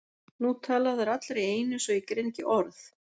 Nú tala þær allar í einu svo ég greini ekki orð.